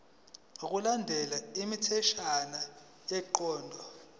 ngokulandela imitheshwana yenqubo